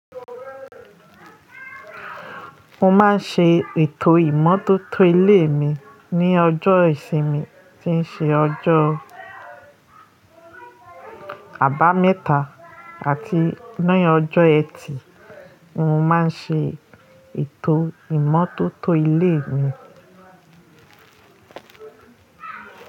Mo máa ń ṣe ètò ìmọ́tótó ilé mi ní ọjọ́ ìsinmi tí ń ṣe ọjọ́ Àbámẹ́ta àti ní ọjọ́ ẹtì mo máa ń ṣe ètò ìmọ́tótó ilé mi.